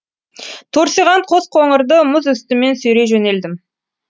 торсиған қос қоңырды мұз үстімен сүйрей жөнелдім